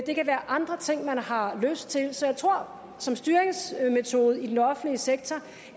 det kan være andre ting som man har lyst til så jeg tror at som styringsmetode i den offentlige sektor